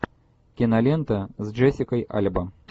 кинолента с джессикой альба